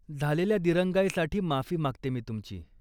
झालेल्या दिरंगाईसाठी माफी मागते मी तुमची.